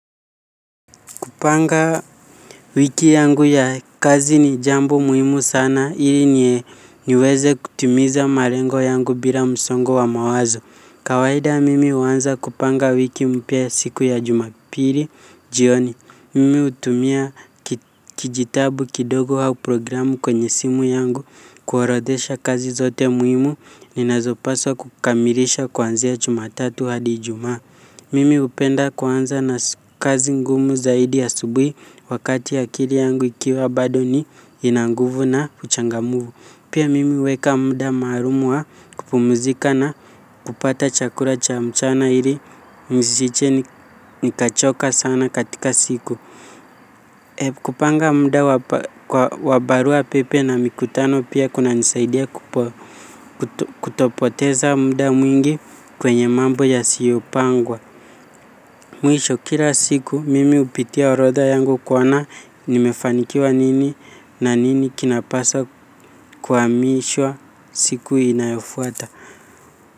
Kupanga wiki yangu ya kazi ni jambo muhimu sana ili niweze kutimiza marengo yangu bila msongo wa mawazo. Kawaida mimi huanza kupanga wiki mpya siku ya jumapili jioni. Mimi hutumia kijitabu kidogo au programu kwenye simu yangu kuorodhesha kazi zote muhimu ni nazopaswa kukamilisha kwanzia jumatatu hadi ijumaa. Mimi hupenda kwanza na kazi ngumu zaidi asubuhi wakati akili yangu ikiwa bado ni ina nguvu na uchangamfu. Pia mimi huweka muda maalum wa kupumzika na kupata chakula cha mchana ili nisije nikachoka sana katika siku. Kupanga muda wa baruapepe na mikutano pia kunanisaidia kutopoteza muda mwingi kwenye mambo yasiyopangwa. Mwisho kila siku mimi hupitia orodha yangu kuona nimefanikiwa nini na nini kinapaswa kuhamishwa siku inayofuata.